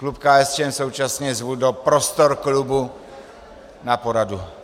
Klub KSČM současně zvu do prostor klubu na poradu.